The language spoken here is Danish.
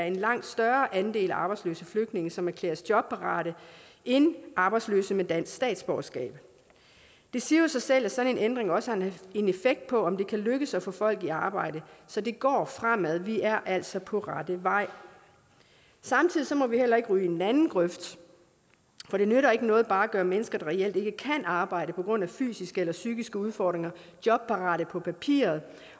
en langt større andel arbejdsløse flygtninge som erklæres jobparate end arbejdsløse med dansk statsborgerskab det siger sig selv at sådan en ændring også har en effekt på om det kan lykkes at få folk i arbejde så det går fremad vi er altså på rette vej samtidig må vi heller ikke ryge i den anden grøft for det nytter ikke noget bare at gøre mennesker der reelt ikke kan arbejde på grund af fysiske eller psykiske udfordringer jobparate på papiret